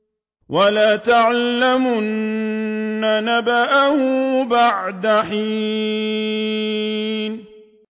وَلَتَعْلَمُنَّ نَبَأَهُ بَعْدَ حِينٍ